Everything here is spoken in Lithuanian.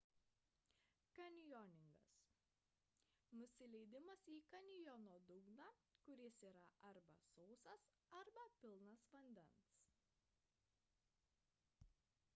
kanjoningas – nusileidimas į kanjono dugną kuris yra arba sausas arba pilnas vandens